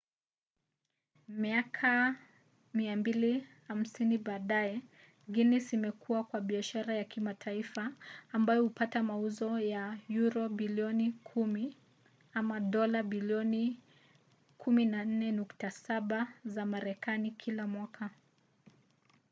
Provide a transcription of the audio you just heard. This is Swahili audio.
miaka 250 baadaye guinness imekua kuwa biashara ya kimataifa ambayo hupata mauzo ya yuro bilioni 10 dola bilioni 14.7 za marekani kila mwaka